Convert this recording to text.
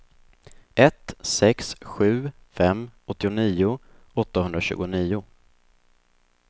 ett sex sju fem åttionio åttahundratjugonio